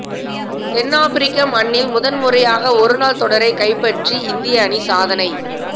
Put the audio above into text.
தென்னாப்பிரிக்க மண்ணில் முதன்முறையாக ஒருநாள் தொடரைக் கைப்பற்றி இந்திய அணி சாதனை